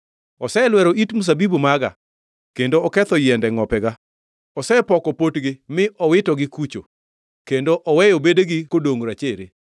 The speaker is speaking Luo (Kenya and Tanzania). Oselwero it mzabibu maga, kendo ketho yiende ngʼopega. Osepoko potgi mi owitogi kucho, kendo oweyo bedegi kodongʼ rachere.